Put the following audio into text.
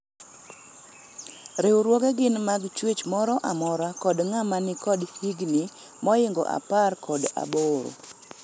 riwruoge gin mag chwech moro amora kod ng'ama nikod higni moingo apar kod aboro